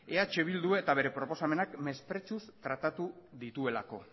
eh bildu eta bere proposamenak mesprezuz tratatu dituelako